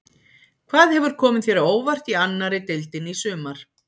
Hvað hefur komið þér á óvart í annari deildinni í sumar?